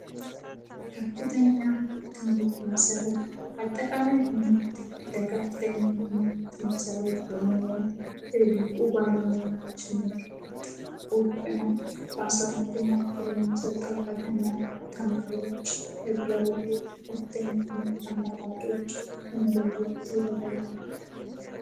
ከፍተኛ ትምህርት መሰረት አጠቃላይ ትምህርት ለከፍተኛ ትምህርት መሰረት በመሆን የበቁ ባለመዎች ምርጥ ቁግና በ12ኛ ክፍል የሙሰጠው ፈተና ተማሪዎች የተለያዩ ከፍተኛ ትምህርት አማራጮች ተመለየት ይረዳል።